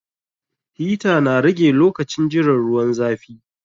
Hita na rage lokacin jiran ruwan zafi